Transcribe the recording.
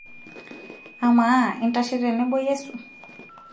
amaa intashe tenebo Yesu